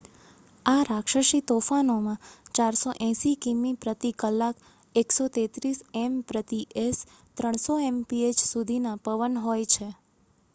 આ રાક્ષસી તોફાનોમાં 480 કિમી/કલાક 133 એમ/એસ ; 300 એમપીએચ્ સુધીના પવન હોય છે